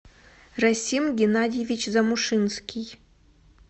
расим геннадьевич замушинский